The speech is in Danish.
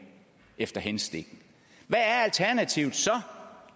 efter hensigten hvad er alternativet så